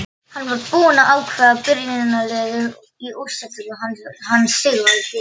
Hann var búinn að ákveða byrjunarliðið í úrslitaleiknum hann Sigvaldi.